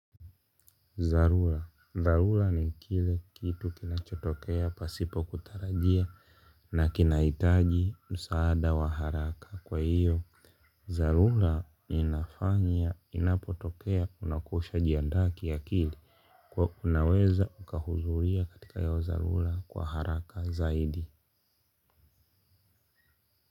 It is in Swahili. Dharura, dharura ni kile kitu kinachotokea pasipo kutarajia na kinahitaji msaada wa haraka kwa hiyo dharura inafanya inapotokea unakuwa ushajiandaa kiakili kuwa unaweza ukakuzuia katika yao dharura kwa haraka zaidi.